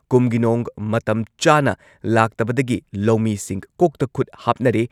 ꯀꯨꯝꯒꯤ ꯅꯣꯡ ꯃꯇꯝ ꯆꯥꯅ ꯂꯥꯛꯇꯕꯗꯒꯤ ꯂꯧꯃꯤꯁꯤꯡ ꯀꯣꯛꯇ ꯈꯨꯠ ꯍꯥꯞꯅꯔꯦ ꯫